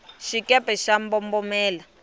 xikepe xa mbombomela